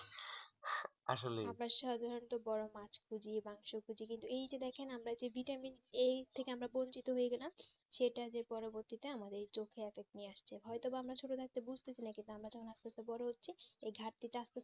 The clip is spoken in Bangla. বড়ো মাছ খুঁজি মাংস খুঁজি কিন্তু এই যে দেখেন আমরা যে vitamin a থেকে আমরা বঞ্চিত হয়ে গেলাম সেটা যে পরবর্তীতে আমাদের চোখে effect নিয়ে আসছে হয়তো বা আমরা ছোটরা একটা বুজতে ছিনা কিন্তু আমরা যখন আরটুকু বোরো হয়ে হচ্ছি ওই ঘাটতি তা